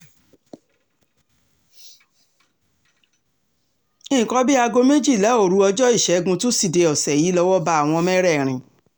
nǹkan bíi aago méjìlá òru ọjọ́ ìṣègùn tusidee ọ̀sẹ̀ yìí lọ́wọ́ bá àwọn mẹ́rẹ̀ẹ̀rin